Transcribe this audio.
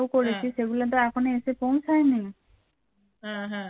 হ্যাঁ হ্যাঁ